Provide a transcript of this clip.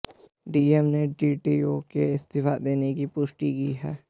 DM ने DTO के इस्तीफा देने की पुष्टि की है